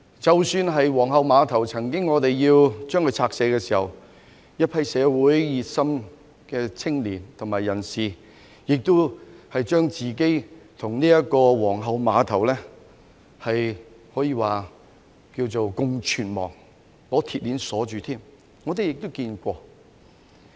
即使是皇后碼頭，政府曾經要將之拆卸時，一批社會熱心的青年和人士曾將自己與皇后碼頭共存亡，他們有人更把自己用鐵鏈綁在碼頭的石柱上。